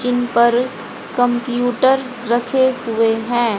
इन पर कंप्यूटर रखे हुए हैं।